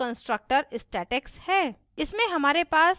यह हमारा constructor statex है